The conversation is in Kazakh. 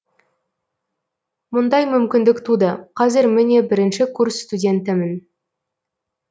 мұндай мүмкіндік туды қазір міне бірінші курс студентімін